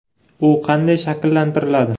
U qanday shakllantiriladi?